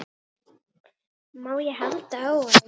Má ég halda á honum?